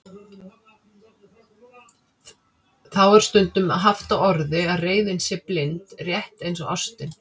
Þá er stundum haft á orði að reiðin sé blind, rétt eins og ástin.